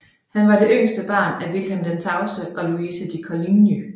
Han var det yngste barn af Vilhelm den Tavse og Louise de Coligny